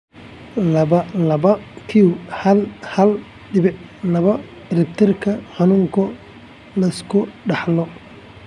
laba laba q hal hal dibic laba ciribtirka xanuunka la iska dhaxlo?